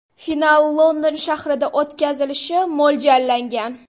Final London shahrida o‘tkazilishi mo‘ljallangan.